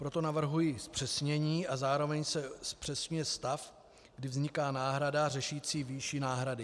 Proto navrhuji zpřesnění a zároveň se zpřesňuje stav, kdy vzniká náhrada řešící výši náhrady.